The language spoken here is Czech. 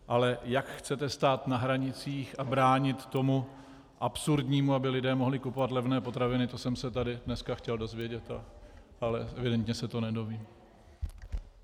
Ale jak chcete stát na hranicích a bránit tomu absurdnímu, aby lidé mohli kupovat levné potraviny, to jsem se tady dneska chtěl dozvědět, ale evidentně se to nedozvím.